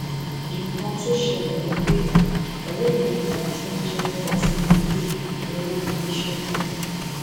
nǹkan tó ṣẹlẹ ni pé ọrẹ mi kan tó ń jẹ fortune ibẹ ló rán mi níṣẹ náà